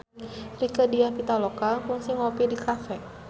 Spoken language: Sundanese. Rieke Diah Pitaloka kungsi ngopi di cafe